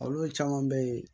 Olu caman bɛ yen